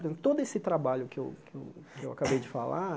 todo esse trabalho que eu que eu que eu acabei de falar,